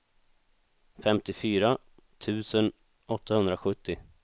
femtiofyra tusen åttahundrasjuttio